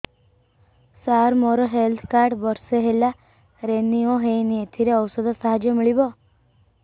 ସାର ମୋର health card ବର୍ଷେ ହେଲା ରିନିଓ ହେଇନି ଏଥିରେ ଔଷଧ ସାହାଯ୍ୟ ମିଳିବ